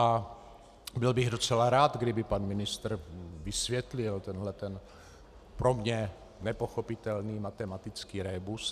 A byl bych docela rád, kdyby pan ministr vysvětlil tenhle ten pro mě nepochopitelný matematický rébus.